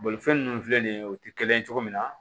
Bolifɛn ninnu filɛ nin ye o tɛ kelen ye cogo min na